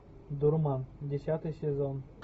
дурман десятый сезон